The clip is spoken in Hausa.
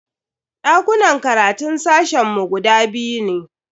Dakunan karatun sashen mu guda biyu ne.